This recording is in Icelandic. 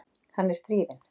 Hann er stríðinn.